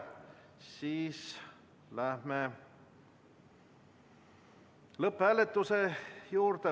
Siis läheme lõpphääletuse juurde.